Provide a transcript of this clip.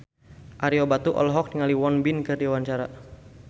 Ario Batu olohok ningali Won Bin keur diwawancara